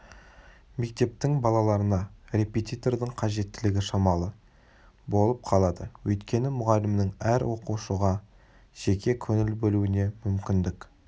мектептің балаларына репетитордың қажеттілігі шамалы болып қалады өйткені мұғалімнің әр оқушыға жеке көңіл бөлуіне мүмкіндік